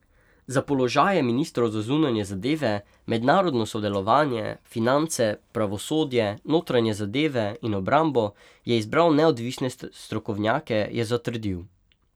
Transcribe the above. Za položaje ministrov za zunanje zadeve, mednarodno sodelovanje, finance, pravosodje, notranje zadeve in obrambo je izbral neodvisne strokovnjake, je zatrdil.